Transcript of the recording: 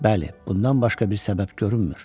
Bəli, bundan başqa bir səbəb görünmür.